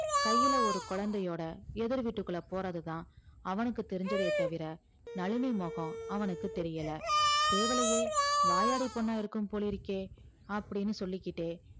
கையில ஒரு குழந்தையோட எதிர் வீட்டுக்குள்ள போறதுதான் அவனுக்கு தெரிஞ்சதே தவிர நளினி முகம் அவனுக்கு தெரியல தேவலையே வாயாடி பொண்ணா இருக்கும் போலிருக்கே அப்படின்னு சொல்லிகிட்டே